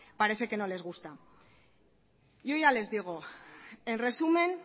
parecen que no les gustan yo ya les digo en resumen